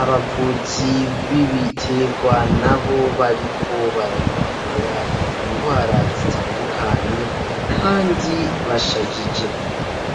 Abavuzi b'ibitegwa nabo bariko barayivura ingwara zitandukanye kandi bashajije.